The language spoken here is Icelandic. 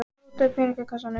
Róta í peningakassanum.